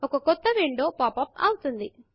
ఒక క్రొత్త window pop up అవుతుంది